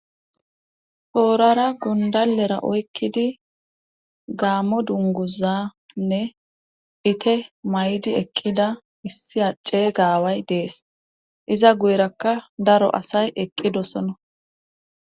Torara gundalera oykkidi gaamo dunguzanne ite maydi eqqida issi ade aaway dees iza guyrakka daro asay eqqidosono